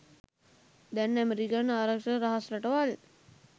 දැන් ඇමෙරිකන් ආරක්ෂක රහස් රටවල්